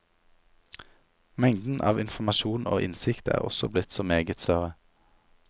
Mengden av informasjon og innsikt er også blitt så meget større.